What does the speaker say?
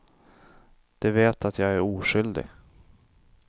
De vet att jag är oskyldig.